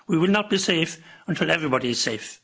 We will not be safe until everybody is safe.